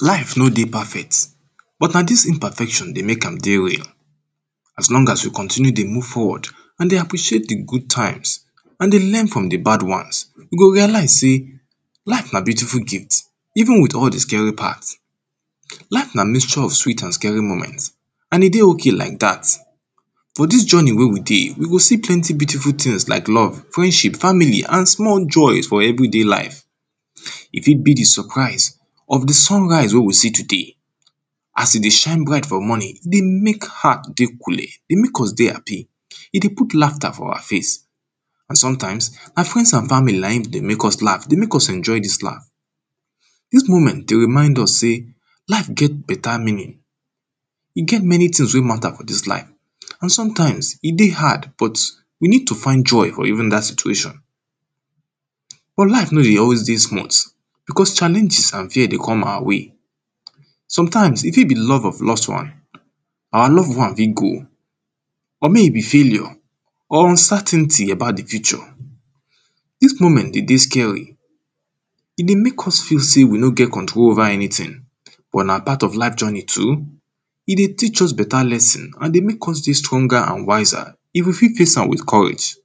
life no dey perfect, but na dis imperfection dey mek am dey real as long as you continue dey move forward, and dey appreciate the good times, and dey learn from the bad ones, you go realise sey life na beautiful ting, even with all the scary part. life na mixture of sweet and all the scary moment and e dey ok like dat, for dis journey wey we dey we go see plenty beautiful tings like love, friendship, family and small joy for everyday life. e fit be the surprise of the sun rise wey we see today, as e dey shine bright for morning e dey mek heart dey coole, dey mek us dey happy, e dey put laughter for awa face, and sometimes, awa friends and family na in dey mek us laugh dey mek us enjoy dis life. sweet moment dey remind us sey, life get better neaning, e get many tings wey matter for dis life, and sometimes e dey hard but, we need to find joy for even dat situation. but life no dey always dey smooth, because challenges and fear dey come awa way, sometimes e fit be love of lost one, awa love one fit go, or mey e be failure, or uncertainty about the future dis moment de dey scary, e dey mek us feel sey we no get control over anyting, wen na part of life journey too, e dey teach us better lesson, and dey mek us dey stronger and wiser, if we fit face am with courage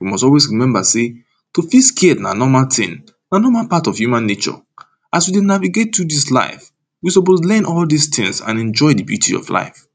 we must always remember sey, to feel scared na normal ting, na normal part of human nature, as we dey navigate through dis life, we suppose learn all dis tings and enjoy the beauty of life.